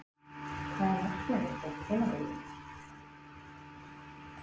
Hvað er markmið þitt á tímabilinu?